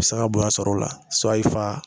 A bi se ka bonya sɔrɔ o la i fa